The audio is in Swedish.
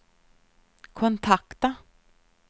kontakta